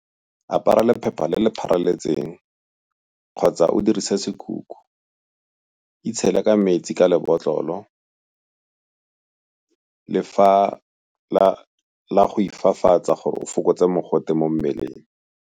Apara lephepha le le pharaletseng kgotsa o dirise sekhukhu. Itshele ka metsi ka lebotlolo la go ifafatsa gore o fokotse mogote mo mmeleng.